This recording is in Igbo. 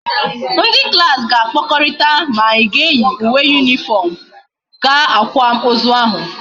Ndi klas ga akpakorita ma anyi ga eyi uwe uniform gaa akwam ozu ahu